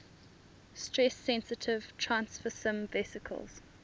stress sensitive transfersome vesicles